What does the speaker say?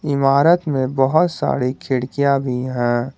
इमारत में बहुत सारी खिड़कियां भी हैं।